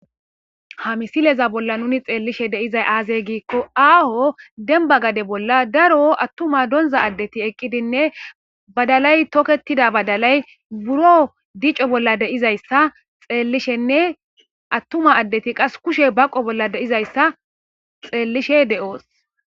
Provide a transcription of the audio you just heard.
Ha misileza bolla nu xeellishe dizay aazee giikko aaho demba gade bolla attuma donza addeti eqqidinne tokkettida badalay buro dico bolla dizaysanne attuma addetu kushe baqo bolla dizayssa be7oos.